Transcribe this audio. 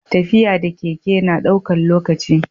tafiya da keke na daukan lokaci?